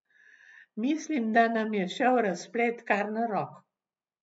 Mislim, da nam je šel razplet kar na roko.